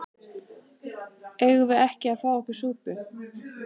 Eigum við ekki að fá okkur súpu?